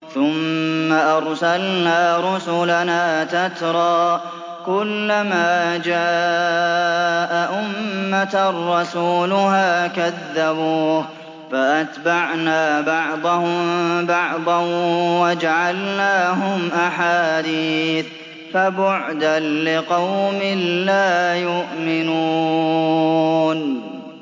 ثُمَّ أَرْسَلْنَا رُسُلَنَا تَتْرَىٰ ۖ كُلَّ مَا جَاءَ أُمَّةً رَّسُولُهَا كَذَّبُوهُ ۚ فَأَتْبَعْنَا بَعْضَهُم بَعْضًا وَجَعَلْنَاهُمْ أَحَادِيثَ ۚ فَبُعْدًا لِّقَوْمٍ لَّا يُؤْمِنُونَ